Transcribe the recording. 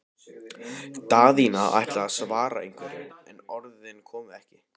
Daðína ætlaði að svara einhverju, en orðin komu ekki.